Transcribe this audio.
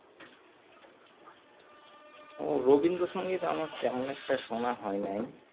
ও রবীন্দ্রসংগীত আমার তেমন একটা সোনা হয়নাই